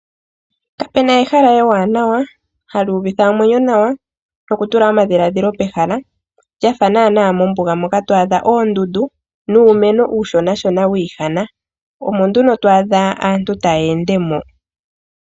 Kapena ehala ewanawa hali uvitha omwenyo nawa no kutula omadhilaadhilo pehala lyafa naana mombuga moka to adha oondundu nuumeno uushona wi ihana. Omo nduno to adha aantu taya ende moka.